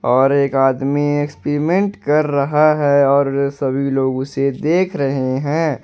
और एक आदमी एक्सपिमेंट कर रहा है और सभी लोग उसे देख रहे हैं।